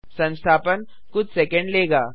संस्थापन कुछ सेकैंड लेगा